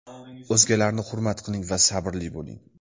O‘zgalarni hurmat qiling va sabrli bo‘ling.